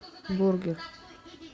бургер